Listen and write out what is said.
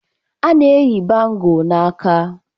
A na-eyi bangọ n'aka.